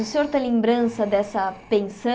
O senhor tem lembrança dessa